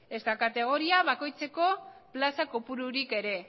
ezta kategoria bakoitzeko plaza kopururik ere